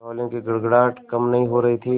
तालियों की गड़गड़ाहट कम नहीं हो रही थी